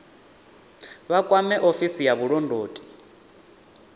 vha kwame ofisi ya vhulondoti